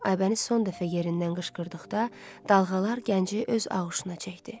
Aybəniz son dəfə yerindən qışqırdıqda dalğalar gənci öz ağuşuna çəkdi.